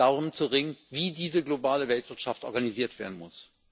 darum zu ringen, wie diese globale Weltwirtschaft organisiert werden muss.